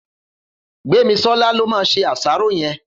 Gbemisola ló má sé àṣàró yèn